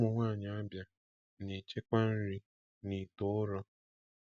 Ụmụnwaanyị Abia na-echekwa nri n’ite ụrọ.